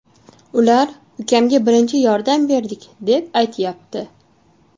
Ular ukamga birinchi yordam berdik, deb aytyapti.